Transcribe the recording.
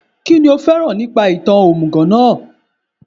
Kínní o fẹ́ràn nípa ìtàn òmùgọ̀ náà